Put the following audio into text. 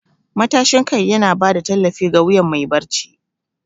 Matashin kai yana ba da tallafi ga wuyan mai barci.